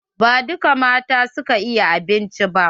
Ba dukka mata su ka iya abinci ba.